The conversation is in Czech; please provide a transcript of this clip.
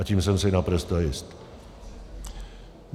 A tím jsem si naprosto jist.